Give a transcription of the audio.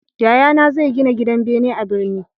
Yayana zai gina gidan bene a birni